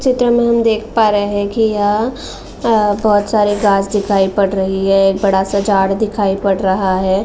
चित्र में हम देख पा रहे हैं कि यह अ बहोत सारे घाँस दिखाई पड़ रही है एक बड़ा सा झाड दिखाई पड रहा है।